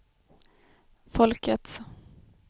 folkets